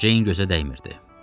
Ceyn gözə dəymirdi.